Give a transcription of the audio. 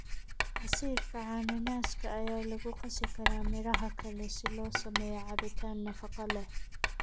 Casiirka cananaaska ayaa lagu qasi karaa miraha kale si loo sameeyo cabitaan nafaqo leh.